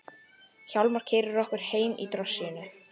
Hjálmar keyrir okkur heim í drossíunni.